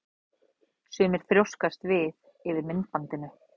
Sumir þrjóskast við yfir myndbandinu.